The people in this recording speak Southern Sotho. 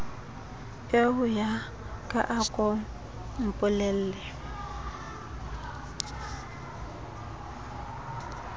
eoya ka a ko mpolelle